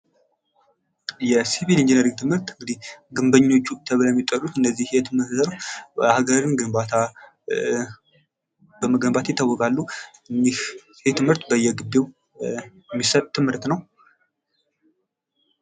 የሲቪል ኢንጂነሪንግ ትምህርት እንግዲህ ግንበኞቹ ተብለው የሚጠሩት እነዚህ የትምህርት የሀገርን ግንባታ በመገንባት ይታወቃሉ እንግዲህ ይሄ ትምህርት በየግቢው የሚሰጥ ትምህርት ነው::